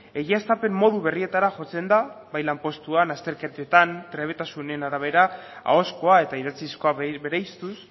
egiaztapen modu berrietara jotzen da bai lanpostuan azterketetan trebetasunen arabera ahozkoa eta idatzizkoa bereiztuz